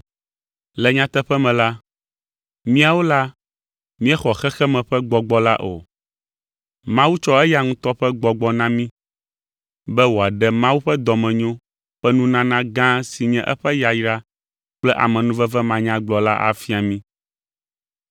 Le nyateƒe me la, míawo la míexɔ xexeme ƒe gbɔgbɔ la o. Mawu tsɔ eya ŋutɔ ƒe Gbɔgbɔ na mí be wòaɖe Mawu ƒe dɔmenyo ƒe nunana gã si nye eƒe yayra kple amenuveve manyagblɔ la afia mí.